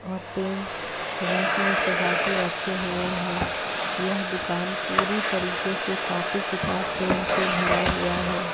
और pen rack में सजा के रखे हुए हैं। यह दुकान पूरी तरह से कापी किताब पेन से भरा हुआ है।